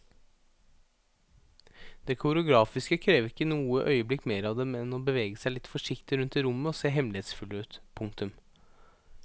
Det koreografiske krever ikke i noe øyeblikk mer av dem enn å bevege seg litt forsiktig rundt i rommet og se hemmelighetsfulle ut. punktum